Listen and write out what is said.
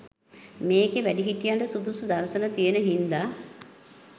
මේකෙ වැඩිහිටියන්ට සුදුසු දර්ශන තියන හින්ද